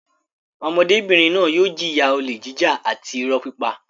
Ọmọdébìnrin náà yóò jìyà olè jíjà àti ìrọ́ pípa.